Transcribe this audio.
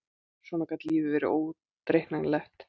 Svona gat lífið verið óútreiknanlegt!